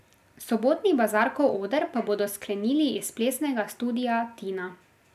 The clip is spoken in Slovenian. Sobotni Bazarkov oder pa bodo sklenili iz Plesnega studia Tina.